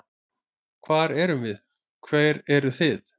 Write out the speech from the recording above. Hver erum við, hver eru þið?